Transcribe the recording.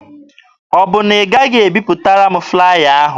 Ọ bụ na ị gaghị ebipụtara m flaya ahụ?